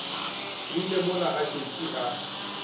rile mola a šetše a